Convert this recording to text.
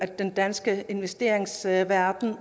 den danske investeringsverden